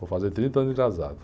Vou fazer trinta anos de casado.